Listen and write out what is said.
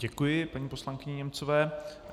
Děkuji paní poslankyni Němcové.